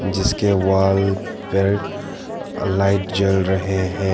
जिसके वॉल पर लाइट जल रहे है।